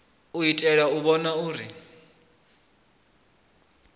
u itela u vhona uri